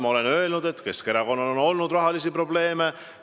Ma olen öelnud, et Keskerakonnal on olnud rahalisi probleeme.